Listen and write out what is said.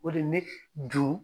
O de ne ju